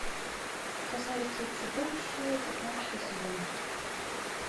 красавица и чудовище пятнадцатый сезон